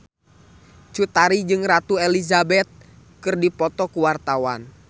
Cut Tari jeung Ratu Elizabeth keur dipoto ku wartawan